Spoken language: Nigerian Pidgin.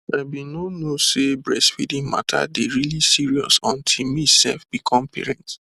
i bin no know say breastfeeding mata dey really serious until me sef become parent